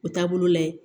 O taabolo la ye